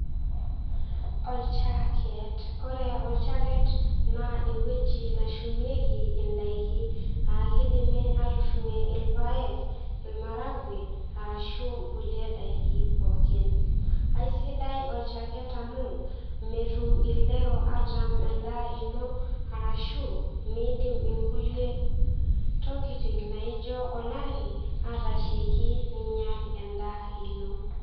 Olchaket ore olchaket naa ewueji nashumieki inaiki akidimi atushumie ilpayek irmaragwe arashu kulie daiki pooki aisidai olchaket amu metum ildero atam endaa ino arashu miidim inkulie tokiting naijo olari atasheiki ninyial endaa ino.